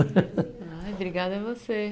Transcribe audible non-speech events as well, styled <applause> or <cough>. <laughs> Obrigada a você.